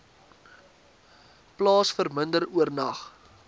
plaas verminder oornag